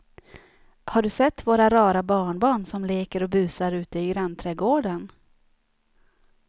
Har du sett våra rara barnbarn som leker och busar ute i grannträdgården!